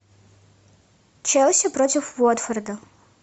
челси против уотфорда